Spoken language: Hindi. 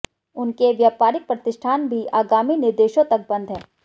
उनके व्यापारिक प्रतिष्ठान भी आगामी निर्देशों तक बंद हैं